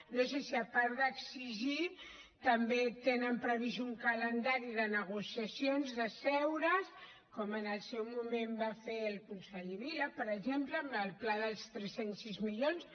no sé si a part d’exigir també tenen previst un calendari de negociacions d’asseure’s com en el seu moment va fer el conseller vila per exemple amb el pla dels tres cents i sis milions